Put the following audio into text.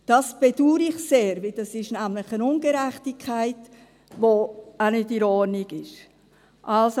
Das bedauere ich sehr, denn das ist nämlich eine Ungerechtigkeit, die auch nicht in Ordnung ist.